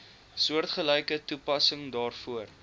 soortgelyke toepassing daarvoor